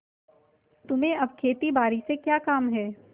तुम्हें अब खेतीबारी से क्या काम है